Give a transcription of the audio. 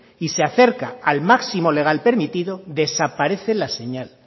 y se acerca al máximo legal permitido desaparece la señal